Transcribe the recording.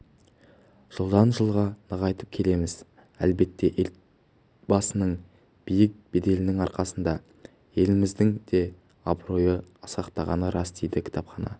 жылдан-жылға нығайтып келеміз әлбетте елбасының биік беделінің арқасында еліміздің де абыройы асқақтағаны рас дейді кітапхана